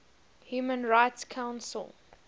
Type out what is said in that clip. human rights council